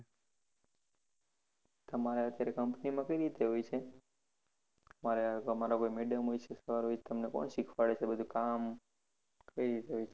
તમારે અત્યારે company કઈ રીતે હોય છે તમારા madam હોય છે કે sir હોય છે તમને કોણ શીખવાડે છે બધુ કામ કઈ રીતે હોય છે